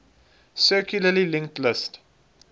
circularly linked list